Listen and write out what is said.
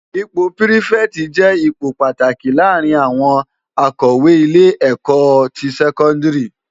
Ipò pirifèti jè ipó pàtáki làárin áwòn ákòwé ilé èkò to sèkòndiri